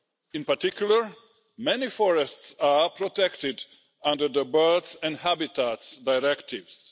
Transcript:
In particular, many forests are protected under the Birds and Habitats Directives.